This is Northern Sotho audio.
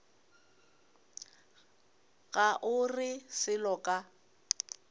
ga o re selo ka